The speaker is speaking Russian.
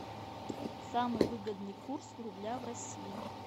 самый выгодный курс рубля в россии